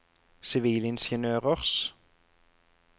sivilingeniørers